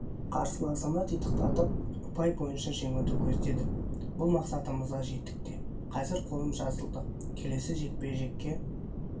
қарсыласымды титықтатып ұпай бойынша жеңуді көздедік бұл мақсатымызға жеттік те қазір қолым жазылды келесі жекпе-жекке